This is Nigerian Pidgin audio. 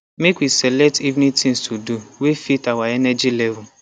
make we select evening things to do way fit our energy level